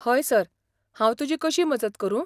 हय, सर, हांव तुजी कशी मजत करूं?